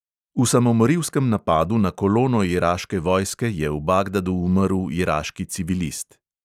V samomorilskem napadu na kolono iraške vojske je v bagdadu umrl iraški civilist.